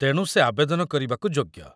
ତେଣୁ ସେ ଆବେଦନ କରିବାକୁ ଯୋଗ୍ୟ